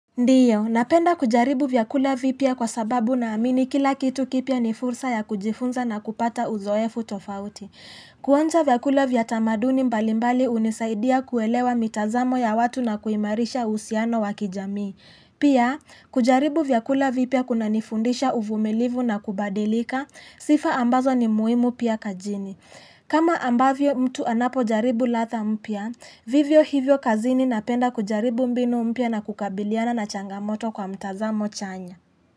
Ndiyo, napenda kujaribu vyakula vipya kwa sababu naamini kila kitu kipya ni fursa ya kujifunza na kupata uzoefu tofauti. Kuanza vyakula vya tamaduni mbalimbali hunisaidia kuelewa mitazamo ya watu na kuimarisha uhusiano wa kijamii. Pia, kujaribu vyakula vipya kunanifundisha uvumilivu na kubadilika, sifa ambazo ni muhimu pia kazini. Kama ambavyo mtu anapojaribu ladha mpya, vivyo hivyo kazini napenda kujaribu mbinu mpya na kukabiliana na changamoto kwa mtazamo chanya.